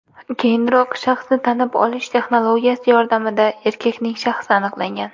Keyinroq shaxsni tanib olish texnologiyasi yordamida erkakning shaxsi aniqlangan.